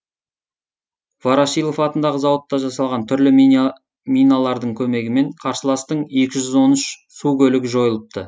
ворошилов атындағы зауытта жасалған түрлі миналардың көмегімен қарсыластың екі жүз он үш су көлігі жойылыпты